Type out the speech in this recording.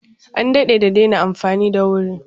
An daɗe da daina amfani da wuri.